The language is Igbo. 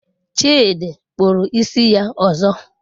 Chidi kpụrụ isi ya ọzọ.